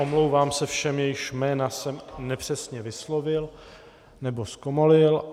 Omlouvám se všem, jejichž jména jsem nepřesně vyslovil nebo zkomolil.